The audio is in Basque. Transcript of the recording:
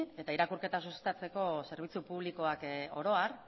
eta irakurketa sustatzeko zerbitzu publikoak oro har